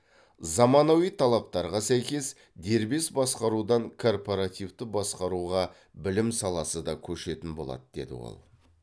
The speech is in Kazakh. заманауи талаптарға сәйкес дербес басқарудан корпоративті басқаруға білім саласы да көшетін болады деді ол